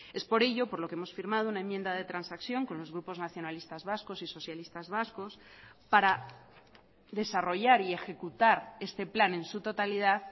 es por ello por lo que hemos firmado una enmienda de transacción con los grupos nacionalistas vascos y socialistas vascos para desarrollar y ejecutar este plan en su totalidad